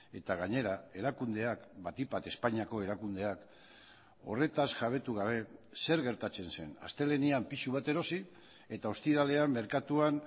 eta gainera erakundeak batik bat espainiako erakundeak horretaz jabetu gabe zer gertatzen zen astelehenean pisu bat erosi eta ostiralean merkatuan